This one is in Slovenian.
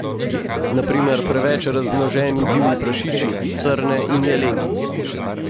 Na primer preveč razmnoženi divji prašiči, srne in jeleni.